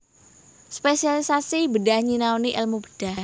Spesialisasi bedhah nyinaoni èlmu bedhah